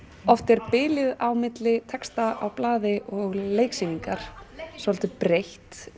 oft er bilið milli texta á blaði og leiksýningar svolítið breitt